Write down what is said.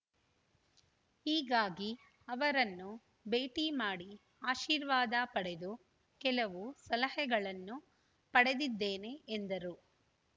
ಹೀಗಾಗಿ ಅವರನ್ನು ಭೇಟಿ ಮಾಡಿ ಆಶೀರ್ವಾದ ಪಡೆದು ಕೆಲವು ಸಲಹೆಗಳನ್ನು ಪಡೆದಿದ್ದೇನೆ ಎಂದರು